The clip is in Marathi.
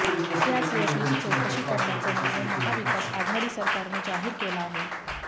त्याच योजनेची चौकशी करण्याचा निर्णय महाविकासआघाडी सरकारने जाहीर केला आहे